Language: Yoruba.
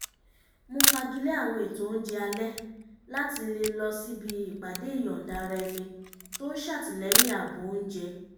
mo fagilé àwọn ètò oúnjẹ alẹ́ láti lè lọ síbi ìpàdé ìyọ̀nda-ara-ẹni tó ń ṣàtìlẹ́yìn ààbò oúnjẹ